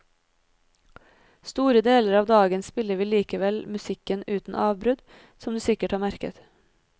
Store deler av dagen spiller vi likevel musikken uten avbrudd, som du sikkert har merket.